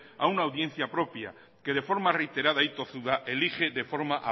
a una audiencia propia que de forma reiterada y tozuda elige de forma